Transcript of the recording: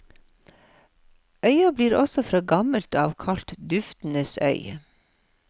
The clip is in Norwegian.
Øya blir også fra gammelt av kalt duftenes øy.